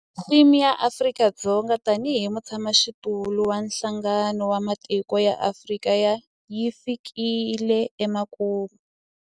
Theme ya Afrika-Dzonga tanihi mutshamaxitulu wa Nhlangano wa Matiko ya Afrika yi fikile emakumu.